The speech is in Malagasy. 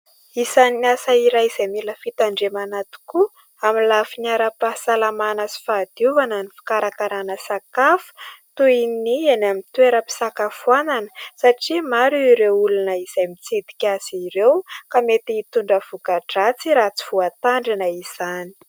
Isany asa iray izay mila fitandremana tokoa amin'ny lafiny ara-pahasalamana sy fahadiovana ny fikarakarana sakafo, toy ny eny amin'ny toeram-pisakafoanana ; satria maro ireo olona izay mitsidika azy ireo ka mety hitondra voka-dratsy raha tsy voatandrina izany.